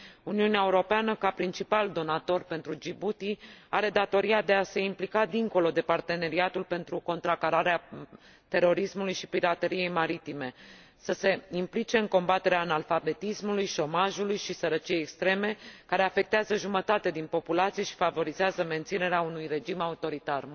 Uniunea Europeană, ca principal donator pentru Djibouti, are datoria de a se implica dincolo de parteneriatul pentru contracararea terorismului și pirateriei maritime, să se implice în combaterea analfabetismului, șomajului și sărăciei extreme, care afectează jumătate din populație și favorizează menținerea unui regim autoritar.